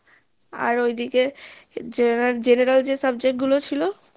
আর ওই দিকে general যে subject গুলো ছিলো